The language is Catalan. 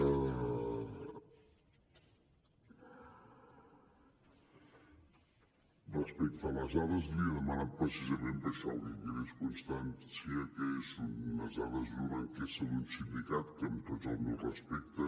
respecte a les dades les hi he demanat precisament per això perquè quedés constància que són unes dades d’una enquesta d’un sindicat que amb tots els meus respectes